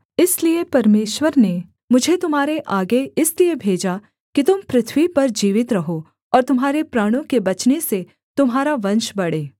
इसलिए परमेश्वर ने मुझे तुम्हारे आगे इसलिए भेजा कि तुम पृथ्वी पर जीवित रहो और तुम्हारे प्राणों के बचने से तुम्हारा वंश बढ़े